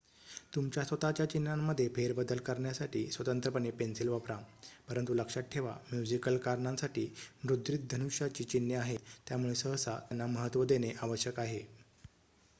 तुमच्या स्वत:च्या चिन्हांमध्ये फेरबदल करण्यासाठी स्वतंत्रपणे पेन्सिल वापरा परंतु लक्षात ठेवा म्युझिकल कारणांसाठी मुद्रित धनुष्याची चिन्हे आहेत त्यामुळे सहसा त्यांना महत्त्व देणे आवश्यक आहे